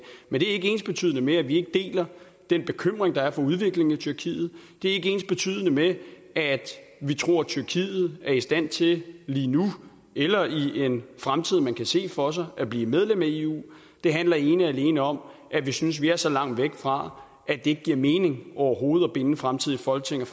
men det er ikke ensbetydende med at vi ikke deler den bekymring der er for udviklingen i tyrkiet det er ikke ensbetydende med at vi tror at tyrkiet er i stand til lige nu eller i en fremtid man kan se for sig at blive medlem af eu det handler ene og alene om at vi synes vi er så langt væk fra at det ikke giver mening overhovedet at binde fremtidige folketing og